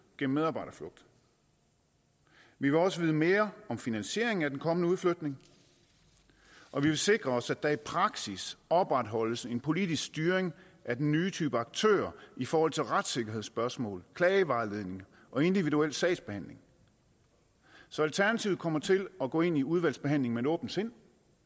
gennem medarbejderflugt vi vil også vide mere om finansieringen af den kommende udflytning og vi vil sikre os at der i praksis opretholdes en politisk styring af den nye type aktører i forhold til retssikkerhedsspørgsmål klagevejledning og individuel sagsbehandling så alternativet kommer til at gå ind i udvalgsbehandlingen med et åbent sind